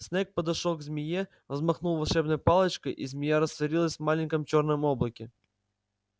снегг подошёл к змее взмахнул волшебной палочкой и змея растворилась в маленьком чёрном облаке